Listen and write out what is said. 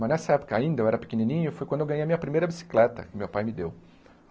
Mas nessa época ainda, eu era pequenininho, foi quando eu ganhei a minha primeira bicicleta, que meu pai me deu.